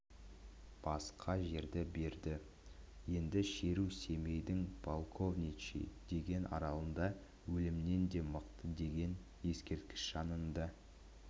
басқа жерді берді енді шеру семейдің полковничий деген аралында өлімнен де мықты деген ескертікіш жанында